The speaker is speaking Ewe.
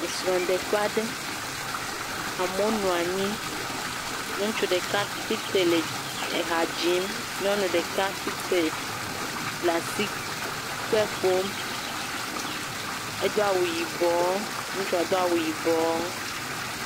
Srɔ̃ɖeƒe aɖe, amewo nɔ anyi. Ŋutsu ɖeka tsi tre le ha dzim, nyɔnu ɖeka tsi tre le asikpe ƒom. Edo awu yibɔ, ŋutsua do awu yibɔ.